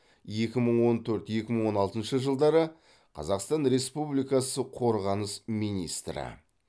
екі мың он төрт екі мың он алтыншы жылдары қазақстан республикасы қорғаныс министрі